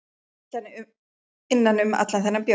Mér leið illa innan um allan þennan bjór.